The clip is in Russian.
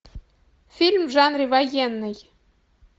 фильм в жанре военный